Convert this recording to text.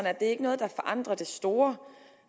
er det ikke noget der forandrer det store